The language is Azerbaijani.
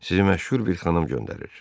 Sizi məşhur bir xanım göndərir.